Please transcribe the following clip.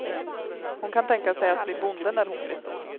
Hon kan tänka sig att bli bonde när hon blir stor.